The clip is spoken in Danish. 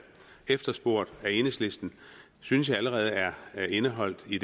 efterspurgt af enhedslisten synes jeg allerede er indeholdt i